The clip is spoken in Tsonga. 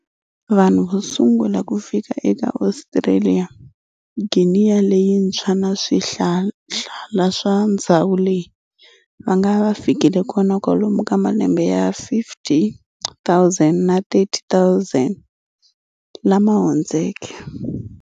Vanhu vosungula kufika eka Ostraliya, Gineya leyintshwa na swihlala swa ndzhawu leyi, vangava vafikile kona kwalomu ka malembe ya 50,000 na 30,000 lama hundzeke.